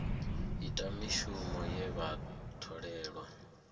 ita mishumo ye vha tholelwa